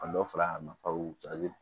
Ka dɔ fara a nafa y'u ka jaabiw ye